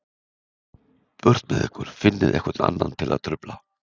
Burtu með ykkur, finnið einhvern annan til að trufla.